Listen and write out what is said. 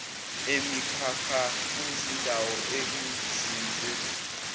emikhakha kuzindawo ekuzinzwe